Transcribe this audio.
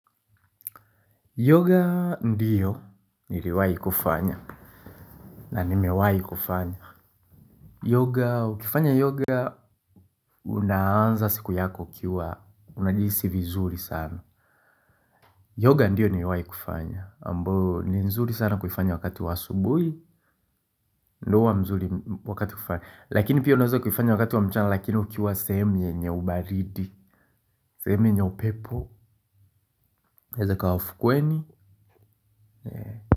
Yoga ndiyo niliwahi kufanya na nimewahi kufanya yoga, ukifanya yoga unaanza siku yako ukiwa unajihisi vizuri sana yoga ndio nimewahi kuifanya ambayo ni nzuri sana kuifanya wakati wa asubuhi lakini pia unaweza kuifanya wakati wa mchana lakini ukiwa sehemu yenye ubaridi sehemu yenye upepo either ikawa ufukweni.